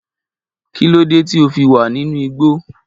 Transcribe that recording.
Kí ló dé tí o fi wà nínú igbó?